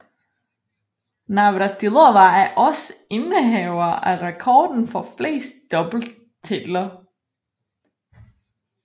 Navratilova er også indehaver af rekorden for flest doubletitler